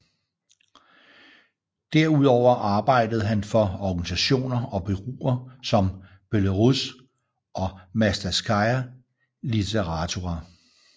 Derudover arbejdede han for organisationer og bureauer som Belarus og Mastatskaja Litaratura